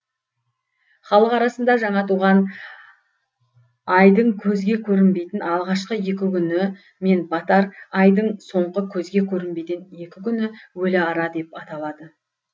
халық арасында жаңа туған айдың көзге көрінбейтін алғашқы екі күні мен батар айдың соңғы көзге көрінбейтін екі күні өліара деп аталады